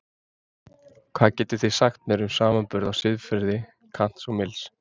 Hvað getið þið sagt mér um samanburð á siðfræði Kants og Mills?